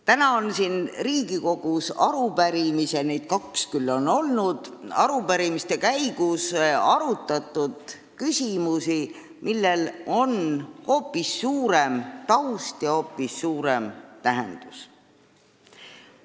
Täna on siin Riigikogus arupärimiste käigus – neid on küll vaid kaks olnud – arutatud küsimusi, millel on hoopis laiem taust ja hoopis suurem tähendus.